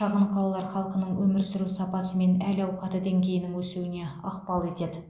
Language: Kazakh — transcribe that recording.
шағын қалалар халқының өмір сүру сапасы мен әл ауқаты деңгейінің өсуіне ықпал етеді